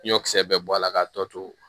Ɲɔkisɛ bɛɛ bɔ a la k'a tɔ to